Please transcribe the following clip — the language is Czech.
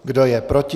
Kdo je proti?